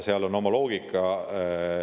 Seal on oma loogika.